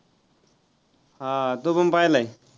हा तो पण पाहिलंय.